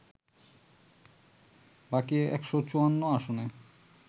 বাকি ১৫৪ আসনে